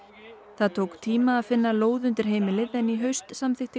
það tók tíma að finna lóð undir heimilið en í haust samþykkti